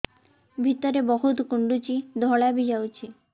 ଭିତରେ ବହୁତ କୁଣ୍ଡୁଚି ଧଳା ବି ଯାଉଛି